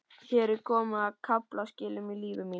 Hér er komið að kaflaskilum í lífi mínu.